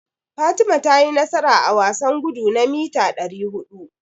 Fatima tayi nasara a wasan gudu na mita ɗari huɗu.